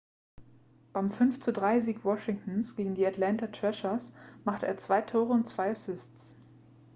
beim 5:3-sieg washingtons gegen die atlanta thrashers machte er 2 tore und 2 assists